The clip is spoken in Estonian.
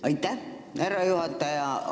Aitäh, härra juhataja!